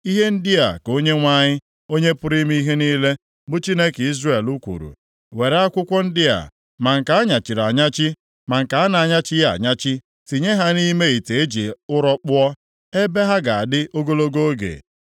‘Ihe ndị a ka Onyenwe anyị, Onye pụrụ ime ihe niile, bụ Chineke Izrel kwuru, Were akwụkwọ ndị a, ma nke a nyachiri anyachi, ma nke a na-anyachighị anyachi, tinye ha nʼime ite e ji ụrọ kpụọ, ebe ha ga-adị ogologo oge.